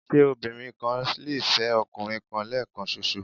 Ṣé obìnrin kan lè fẹ́ ọkùnrin kan lẹ́ẹ̀kan ṣoṣo?